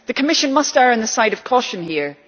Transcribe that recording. The Commission must err on the side of caution here.